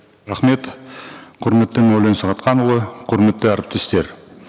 рахмет құрметті мәулен сағатханұлы құрметті әріптестер